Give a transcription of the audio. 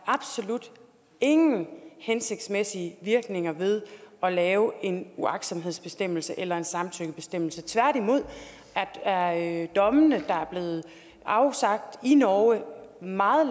absolut ingen hensigtsmæssige virkninger er ved at lave en uagtsomhedsbestemmelse eller en samtykkebestemmelse tværtimod er dommene der er blevet afsagt i norge meget